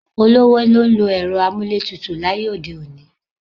Olówó ló ń lo ẹ̀rọ amúlétutù láyé òde òní.